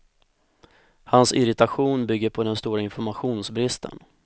Hans irritation bygger på den stora informationsbristen.